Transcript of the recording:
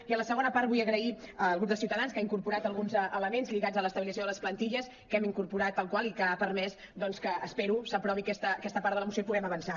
i en la segona part vull agrair al grup de ciutadans que ha incorporat alguns elements lligats a l’estabilització de les plantilles que hem incorporat tal qual i que ha permès doncs que espero s’aprovi aquesta part de la moció i puguem avançar